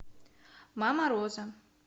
мама роза